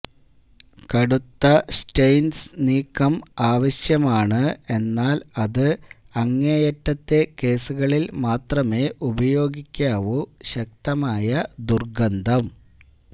കടുത്ത സ്റ്റെയിൻസ് നീക്കം ആവശ്യമാണ് എന്നാൽ അത് അങ്ങേയറ്റത്തെ കേസുകളിൽ മാത്രമേ ഉപയോഗിക്കാവൂ ശക്തമായ ദുർഗന്ധം